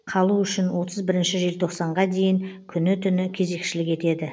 қалу үшін отыз бірінші желтоқсанға дейін күні түні кезекшілік етеді